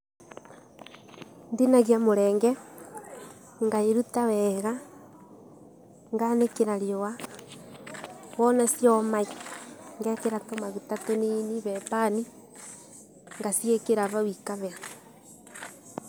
Ndinagia mũrenge, ngairuta weega, nganĩkĩra riũa, wona cioma ngekĩra tũmaguta tũnini he pan, ngaciĩkĩra ngaciĩkĩra vau ikahĩa.